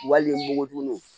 Wali npogotigininw